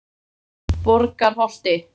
Borgarholti